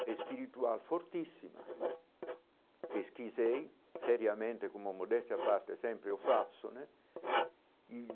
É espiritual fortíssima, pesquisei seriamente, como uma modesta, a parte sempre o faço né e.